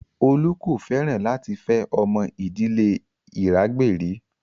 Olu kò fẹ́ràn láti fẹ́ ọmọ ìdílé Iragberi